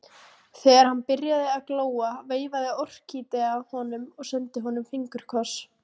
Þegar hann byrjaði að glóa veifaði Orkídea honum og sendi honum fingurkoss.